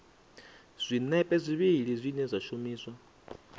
zwinepe zwivhili zwine zwa shumiswa